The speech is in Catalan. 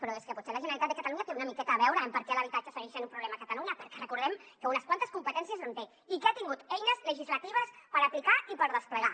però és que potser la generalitat de catalunya hi té una miqueta a veure en per què l’habitatge segueix sent un problema a catalunya perquè recordem que unes quantes competències hi té i que ha tingut eines legislatives per aplicar i per desplegar